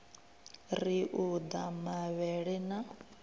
ri u ḓa mavhele na